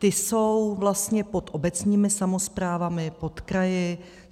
Ti jsou vlastně pod obecními samosprávami, pod kraji.